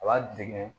A b'a dege